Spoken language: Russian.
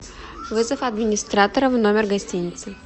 вызов администратора в номер гостиницы